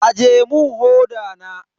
Aje mun hoda na.